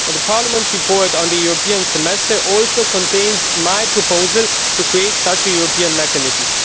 Parliament's report on the European Semester also contains my proposal to create such a European mechanism.